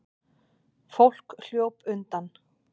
Fólk hljóp undan.